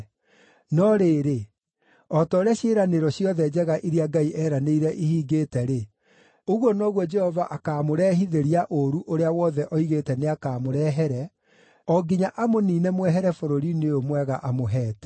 No rĩrĩ, o ta ũrĩa ciĩranĩro ciothe njega iria Ngai eeranĩire ihingĩte-rĩ, ũguo noguo Jehova akaamũrehithĩria ũũru ũrĩa wothe oigĩte nĩakamũrehere, o nginya amũniine mwehere bũrũri-inĩ ũyũ mwega amũheete.